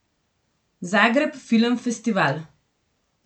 Zagreb Film Festival.